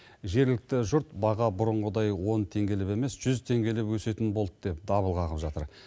жергілікті жұрт баға бұрынғыдай он теңгелеп емес жүз теңгелеп өсетін болды деп дабыл қағып жатыр